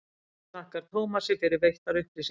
höfundur þakkar tómasi fyrir veittar upplýsingar